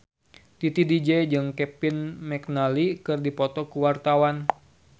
Titi DJ jeung Kevin McNally keur dipoto ku wartawan